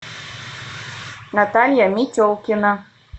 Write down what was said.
наталья метелкина